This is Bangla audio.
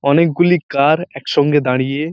অনেক গুলি কার একসঙ্গে দাঁড়িয়ে ।